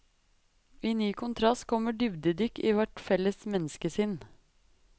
I ny kontrast kommer dybdedykk i vårt felles menneskesinn.